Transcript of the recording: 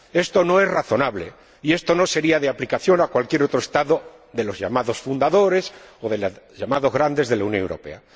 Esto no es razonable, y esto no se aplicaría a cualquier otro Estado de los llamados fundadores, o de los llamados grandes de la Unión Europea.